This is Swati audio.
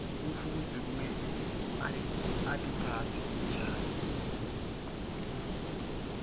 mfundzi kumele atiphatse njani